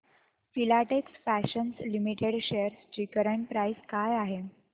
Filatex fashions limited shares ची current price काय आहे